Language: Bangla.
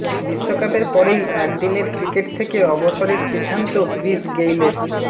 বিশ্বকাপের পরেই একদিনের ক্রিকেট থেকে অবসরের সিদ্ধান্ত ক্রিস গেইলের